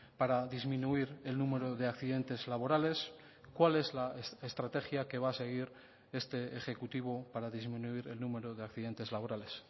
para disminuir el número de accidentes laborales cuál es la estrategia que va a seguir este ejecutivo para disminuir el número de accidentes laborales